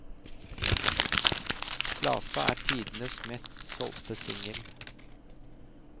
Plata er tidenes mest solgte singel.